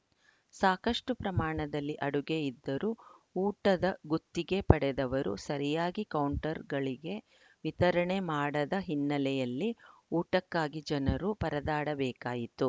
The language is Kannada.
ಸಾಕಷ್ಟುಪ್ರಮಾಣದಲ್ಲಿ ಅಡುಗೆ ಇದ್ದರೂ ಊಟದ ಗುತ್ತಿಗೆ ಪಡೆದವರು ಸರಿಯಾಗಿ ಕೌಂಟರ್‌ಗಳಿಗೆ ವಿತರಣೆ ಮಾಡದ ಹಿನ್ನೆಲೆಯಲ್ಲಿ ಊಟಕ್ಕಾಗಿ ಜನರು ಪರದಾಡಬೇಕಾಯಿತು